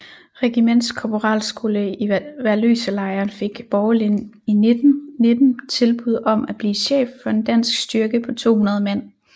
Regiments korporalsskole i Værløselejren fik Borgelin i 1919 tilbud om at blive chef for en dansk styrke på 200 mand